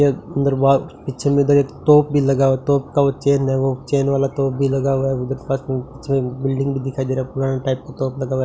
ये अंदर बाहर पीछे में इधर एक तोप भी लगा हुआ है तोप का वो चेन है वो चेन वाला तोप भी लगा हुआ है उधर पास में पिछे एक अन्दर बिल्डिंग भी दिखाई दे रहा पुराना टाइप का तोप भी लगा हुआ है।